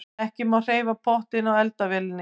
Ekki má hreyfa pottinn á eldavélinni.